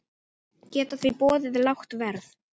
Geta því boðið lágt verð.